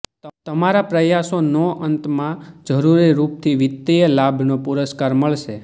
તમારા પ્રયાસો નો અંત માં જરૂરી રૂપ થી વિત્તીય લાભ નો પુરસ્કાર મળશે